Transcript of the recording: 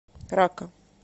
ракка